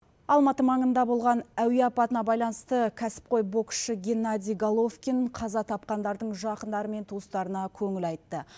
алматы маңында болған әуе апатына байланысты кәсіпқой боксшы геннадий головкин қаза тапқандардың жақындары мен туыстарына көңіл айтты